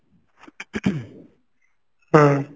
ହୁଁ